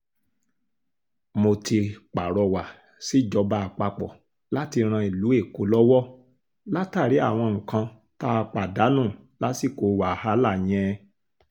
mo ti pàrọwà sí ìjọba àpapọ̀ láti ran ìlú èkó lọ́wọ́ látàrí àwọn nǹkan tá a pàdánù lásìkò wàhálà yẹn